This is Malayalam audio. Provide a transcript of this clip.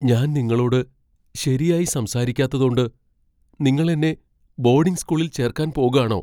ഞാൻ നിങ്ങളോട് ശരിയായി സംസാരിക്കാത്തതോണ്ട് , നിങ്ങൾ എന്നെ ബോഡിംഗ് സ്കൂളിൽ ചേർക്കാൻ പോകാണോ?